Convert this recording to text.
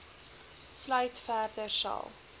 sluit verder sal